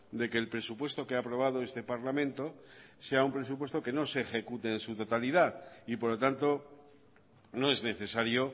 de que el presupuesto que ha aprobado este parlamento sea un presupuesto que no se ejecute en su totalidad y por lo tanto no es necesario